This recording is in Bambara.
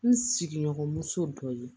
N sigiɲɔgɔnmuso dɔ ye